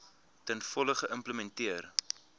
ten volle geïmplementeer